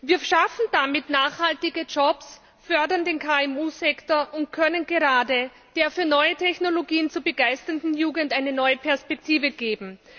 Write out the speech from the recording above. Wir schaffen damit nachhaltige Jobs, fördern den KMU Sektor und können gerade der für neue Technologien zu begeisternden Jugend eine neue Perspektive geben.